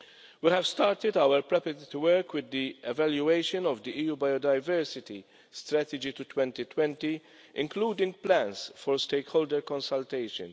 We have started our preparatory work with the evaluation of the EU biodiversity strategy to 2020, including plans for stakeholder consultation.